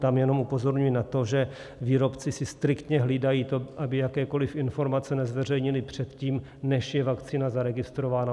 Tam jenom upozorňuji na to, že výrobci si striktně hlídají to, aby jakékoliv informace nezveřejnili předtím, než je vakcína zaregistrována.